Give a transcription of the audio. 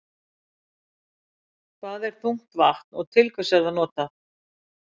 Hvað er þungt vatn og til hvers er það notað?